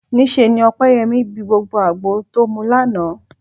Níṣe ni Ọpẹ́yẹmí bi gbogbo àgbo tó mu lánàá